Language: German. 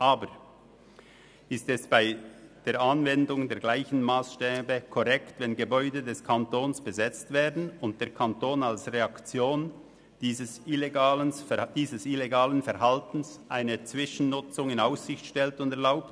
Aber ist es bei der Anwendung der gleichen Massstäbe korrekt, wenn Gebäude des Kantons besetzt werden und der Kanton als Reaktion auf dieses illegale Verhalten eine Zwischennutzung in Aussicht stellt und erlaubt?